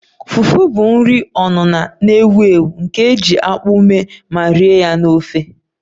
Fufu bụ nri onuno na-ewu ewu nke e ji akpu mee ma rie ya na ofe